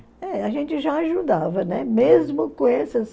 É, a gente já ajudava, né, mesmo com essas...